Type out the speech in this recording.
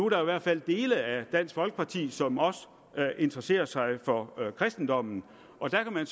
der i hvert fald dele af dansk folkeparti som også interesserer sig for kristendommen og der kan man